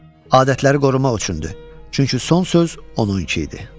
Adətləri qorumaq üçündür, çünki son söz onun idi.